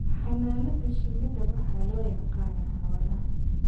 Xannaanada shinnida waxaa loo yaqaanaa xoolaha